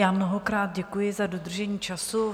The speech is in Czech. Já mnohokrát děkuji za dodržení času.